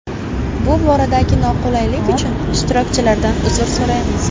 Bu boradagi noqulaylik uchun ishtirokchilardan uzr so‘raymiz.